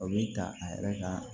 O bɛ ta a yɛrɛ ka